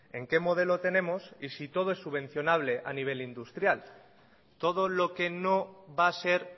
en qué modelo tenemos y si todo es subvencionable a nivel industrial todo lo que no va a ser